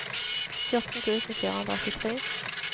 fjorten tusen fire hundre og åttitre